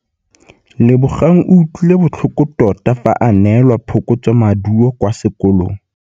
Lebogang o utlwile botlhoko tota fa a neelwa phokotsômaduô kwa sekolong.